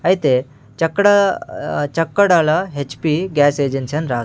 అయితే చెక్కడా అహ్ చెక్కడాల హెచ్_పి గ్యాస్ ఏజెన్సీ అని రాసి--